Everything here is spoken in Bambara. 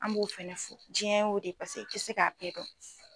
An b'o fɛnɛ jiɲɛ o de pase e te se k'a bɛɛ dɔn